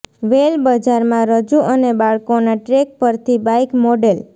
વેલ બજારમાં રજૂ અને બાળકોના ટ્રેક પરથી બાઇક મોડેલ